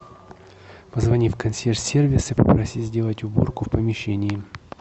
позвони в консьерж сервис и попроси сделать уборку в помещении